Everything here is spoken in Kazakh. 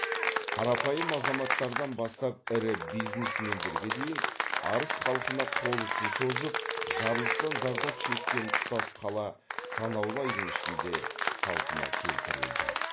қарапайым азаматтардан бастап ірі бизнесмендерге дейін арыс халқына қол ұшын созып жарылыстан зардап шеккен тұтас қала санаулы айдың ішінде қалпына келтірілді